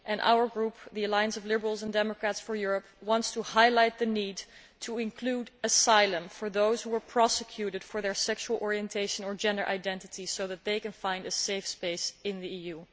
Our Group, the Alliance of Liberals and Democrats for Europe, wants to highlight the need to include asylum for those who were prosecuted for their sexual orientation or gender identity so that they can find a safe space in the EU.